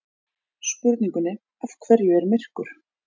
Spurningunni Af hverju er myrkur?